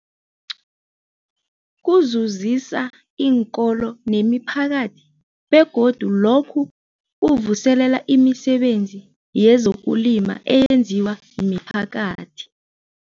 Kuzuzisa iinkolo nemiphakathi begodu lokhu kuvuselela imisebenzi yezokulima eyenziwa miphakathi.